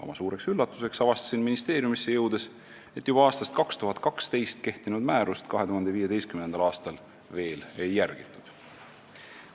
Oma suureks üllatuseks avastasin ministeeriumisse jõudes, et juba aastast 2012 kehtinud määrust 2015. aastal veel ei järgitud.